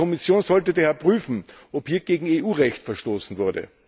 Die Kommission sollte daher prüfen, ob hier gegen EU Recht verstoßen wurde.